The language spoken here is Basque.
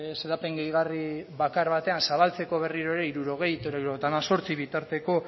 xedapen gehigarri bakar batean zabaltzeko berriro ere hirurogei hirurogeita hemezortzi bitarteko